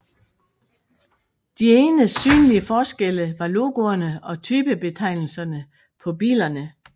De eneste synlige forskelle var logoerne og typebetegnelserne på bilerne